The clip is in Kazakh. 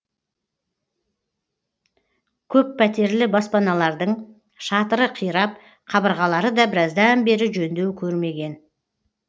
көппәтерлі баспаналардың шатыры қирап қабырғалары да біраздан бері жөндеу көрмеген